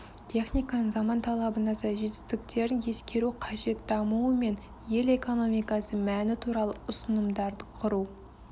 техниканың заман талабына сай жетістіктерін ескеру қажет дамуы мен ел экономикасы мәні туралы ұсынымдарды құру